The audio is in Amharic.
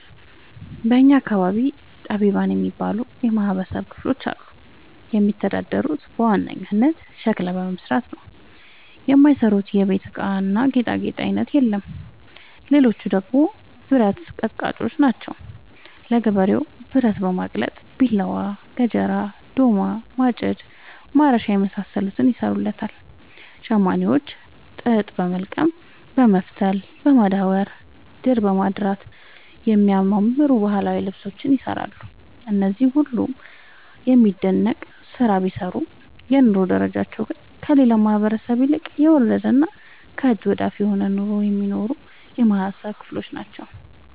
በእኛ አካባቢ ጠቢባን የሚባሉ የማህበረሰብ ክፍሎች አሉ። የሚተዳደሩት በዋናነት ሸክላ በመስራት ነው። የማይሰሩት የቤት እቃና ጌጣጌጥ አይነት የለም ሌቹ ደግሞ ብረት አቀጥቃጭጮች ናቸው። ለገበሬው ብረት በማቅለጥ ቢላዋ፣ ገጀራ፣ ዶማ፣ ማጭድ፣ ማረሻ የመሳሰሉትን ይሰሩለታል። ሸማኔዎች ጥጥ በወልቀም በመፍተል፣ በማዳወር፣ ድር በማድራት የሚያማምሩ ባህላዊ ልብሶችን ይሰራሉ። እነዚህ ሁሉም የሚደነቅ ስራ ቢሰሩም የኑሮ ደረጃቸው ግን ከሌላው ማህበረሰብ ይልቅ የወረደና ከእጅ ወዳፍ የሆነ ኑሮ የሚኖሩ የማህበረሰብ ክሎች ናቸው።